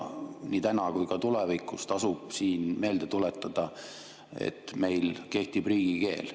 Nii täna kui ka tulevikus tasub siin meelde tuletada, et meil kehtib riigikeel.